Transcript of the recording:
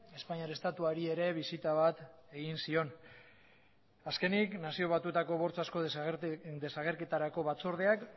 espainiar estatuari ere bisita bat egin zion azkenik nazio batuetako bortxazko desagerketarako batzordeak